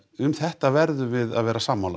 um þetta verðum við að vera sammála